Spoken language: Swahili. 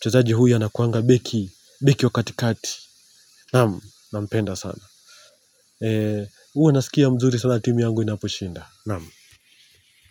Mchezaji huyu anakuanga beki. Beki wa katikati. Naamu. Nampenda sana. Huwa nasikia mzuri sana timu yangu inaposhinda. Naam.